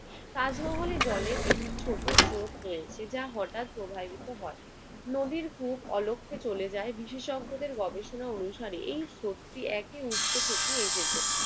তাজমহলে জলের একটি ছোট স্রোত রয়েছে। যা হঠাৎ প্রবাহিত হয়। নদীর খুব অলক্ষে চলে যায়। বিশেষজ্ঞদের গবেষণা অনুসারে এই স্রোতটি একই উৎস থেকে এসেছে।